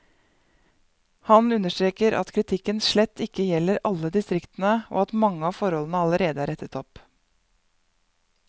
Han understreker at kritikken slett ikke gjelder alle distriktene, og at mange av forholdene allerede er rettet opp.